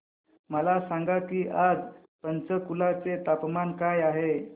मला सांगा की आज पंचकुला चे तापमान काय आहे